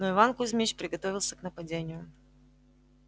но иван кузмич приготовился к нападению